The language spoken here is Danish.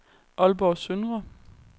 Aalborg Søndre